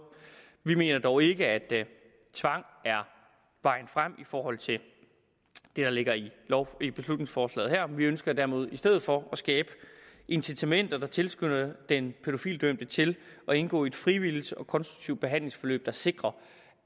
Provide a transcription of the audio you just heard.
vi mener dog ikke at tvang er vejen frem i forhold til det der ligger i i beslutningsforslaget her men vi ønsker derimod i stedet for at skabe incitamenter der tilskynder den pædofilidømte til at indgå i et frivilligt og konstruktivt behandlingsforløb der sikrer